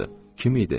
Kim idi?